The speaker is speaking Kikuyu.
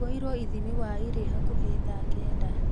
Twoirwo ithimi waĩ rĩ hakuhĩ tha kenda